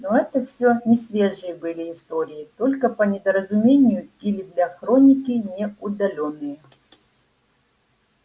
но это всё несвежие были истории только по недоразумению или для хроники не удалённые